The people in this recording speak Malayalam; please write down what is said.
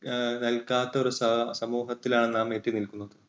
എഹ് നൽകാത്ത ഒരു സമൂഹത്തിലാണ് നാം എത്തിനിൽക്കുന്നത്.